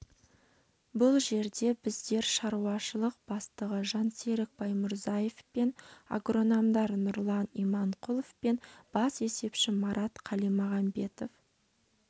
бұл жерде біздер шаруашылық бастығы жансерік баймұрзаев пен агрономдар нұрлан иманқұлов пен бас есепші марат қалимағамбетов